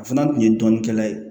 A fana kun ye dɔnnikɛla ye